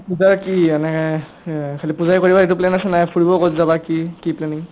পূজাৰ কি মানে খালী পূজাই কৰিবা সেইটো plan আছে না ফুৰিব কবাত যাবা কি ? কি planning ?